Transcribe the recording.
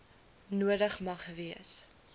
nodig mag wees